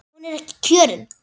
Hún er ekki kjörin.